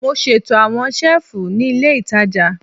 Mo ṣeto awọn selifu ni ile itaja